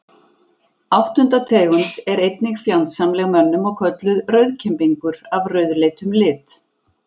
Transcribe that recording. Áttunda tegund er einnig fjandsamleg mönnum og kölluð rauðkembingur af rauðleitum lit.